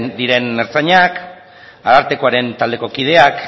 diren ertzainak arartekoaren taldeko kideak